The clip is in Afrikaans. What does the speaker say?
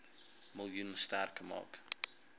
miljoen sterk maak